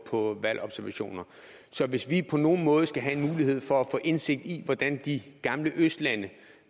på valgobservationer så hvis vi på nogen måde skal have en mulighed for at få indsigt i hvordan de gamle østlande